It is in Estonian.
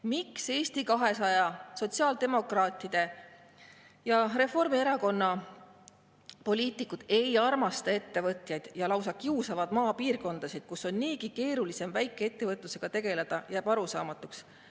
Miks Eesti 200, sotsiaaldemokraatide ja Reformierakonna poliitikud ei armasta ettevõtjaid ja lausa kiusavad maapiirkondasid, kus on niigi keeruline väikeettevõtlusega tegeleda, jääb arusaamatuks.